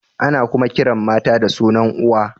Ana kuma kiran mata da sunan uwa.